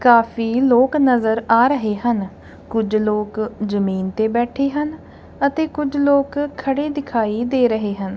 ਕਾਫੀ ਲੋਕ ਨਜ਼ਰ ਆ ਰਹੇ ਹਨ ਕੁਝ ਲੋਕ ਜਮੀਨ ਤੇ ਬੈਠੇ ਹਨ ਅਤੇ ਕੁਝ ਲੋਕ ਖੜੇ ਦਿਖਾਈ ਦੇ ਰਹੇ ਹਨ।